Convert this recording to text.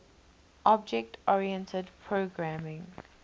object oriented programming